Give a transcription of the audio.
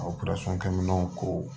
A kɛ minɛnw ko